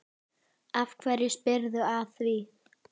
Af hverju spyrðu að því?